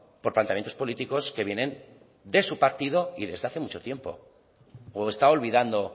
por planteamientos políticos que vienen de su partido y desde hace mucho tiempo o está olvidando